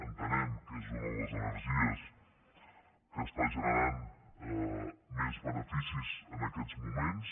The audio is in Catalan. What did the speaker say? entenem que és una de les energies que està generant més beneficis en aquests moments